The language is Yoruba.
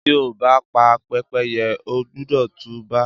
Tí o bá pa Pẹ́pẹ́yẹ, o gbúdọ̀ tú bá.